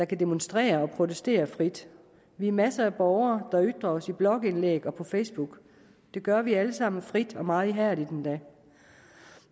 kan demonstrere og protestere frit vi er masser af borgere der ytrer os i blogindlæg og på facebook det gør vi alle sammen frit og meget ihærdigt endda